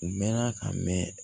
U mɛnna ka mɛn